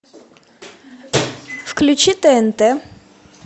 включи тнт